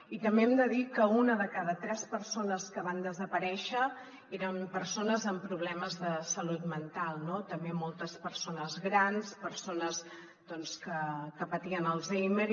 i també hem de dir que una de cada tres persones que van desaparèixer eren persones amb problemes de salut mental no també moltes persones grans persones doncs que patien alzheimer